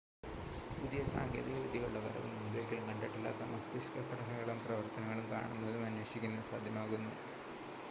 പുതിയ സാങ്കേതിക വിദ്യകളുടെ വരവ് മുൻപൊരിക്കലും കണ്ടിട്ടില്ലാത്ത മസ്തിഷ്‌ക ഘടനകളും പ്രവർത്തനങ്ങളും കാണുന്നതും അന്വേഷിക്കുന്നതും സാധ്യമാക്കുന്നു